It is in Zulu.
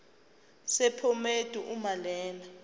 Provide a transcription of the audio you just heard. sephomedi uma lena